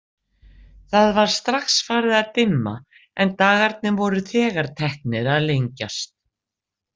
Það var strax farið að dimma en dagarnir voru þegar teknir að lengjast.